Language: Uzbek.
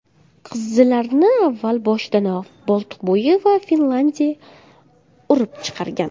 Qizillarni avval boshidanoq Boltiqbo‘yi va Finlyandiya urib chiqargan.